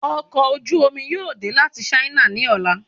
Ọkọ̀ ojú omi yóò dẹ láti sáínà ni ọla